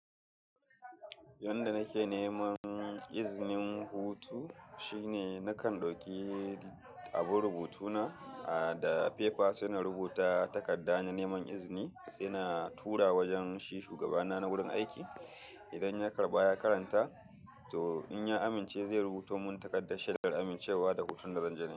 Yanda nake neman iznin hutu shine nakan dauki abun rubutu na, ada fefa sai na rubuta takarda na neman izini, sai na tura wajen shi shugabana na wurin aiki. Idan ya karɓa ya karanta, to in ya amince zai rubuto mun takardar shaidar amincewa da hutun da zan je nayi.